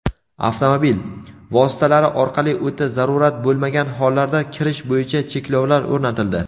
avtomobil) vositalari orqali o‘ta zarurat bo‘lmagan hollarda kirish bo‘yicha cheklovlar o‘rnatildi.